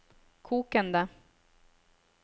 kokende